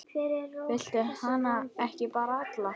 Viltu hana ekki bara alla?